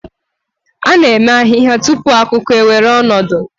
A na-eme ahihia tupu akuku ewere ọnọdụ.